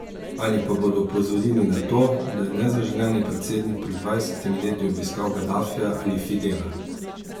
Ali pa bodo opozorili na to, da je nezaželeni predsednik pred dvajsetimi leti obiskal Gadafija ali Fidela.